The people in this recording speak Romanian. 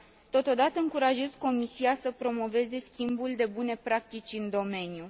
Totodată, încurajez Comisia să promoveze schimbul de bune practici în domeniu.